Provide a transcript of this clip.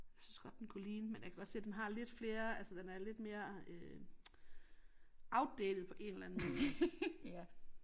Jeg synes godt den kunne ligne men jeg kan godt se den har lidt flere altså den er lidt mere øh outdated på en eller anden måde